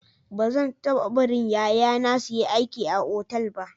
Ba zan taba barin yaya na su yi aiki a otal ba.